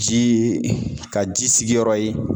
Jii ka ji sigiyɔrɔ ye